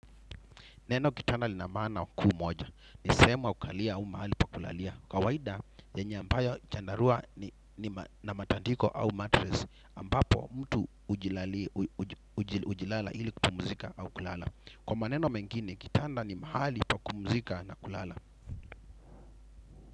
Neno kitanda lina maana kuu moja. Ni sehemu ya kukalia au mahali pa kulalia. Kawaida yenye ambayo chandarua na matandiko au matress, ambapo mtu hujilala ili kupumzika au kulala. Kwa maneno mengine kitanda ni mahali pa kumpumzika na kulala.